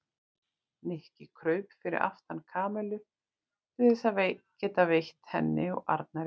Nikki kraup fyrir aftan Kamillu til þess að geta veitt henni og Arnari yl.